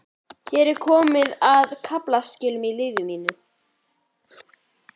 Hér er komið að kaflaskilum í lífi mínu.